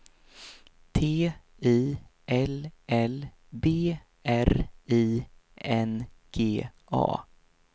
T I L L B R I N G A